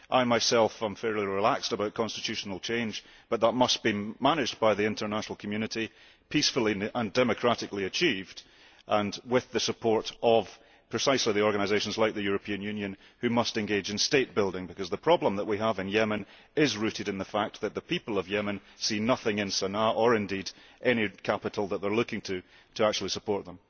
I myself am fairly relaxed about constitutional change but that must be managed by the international community peacefully and democratically achieved, and with the support of precisely those organisations like the European Union which must engage in state building, because the problem that we have in Yemen is rooted in the fact that the people of Yemen see nothing in Sana'a, or indeed any other capital that they are looking to, to actually support them.